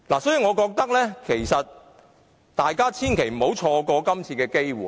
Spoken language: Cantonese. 所以，我認為大家千萬不要錯過這次機會。